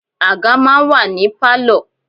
Àga máa ń wà ní Pálọ̀.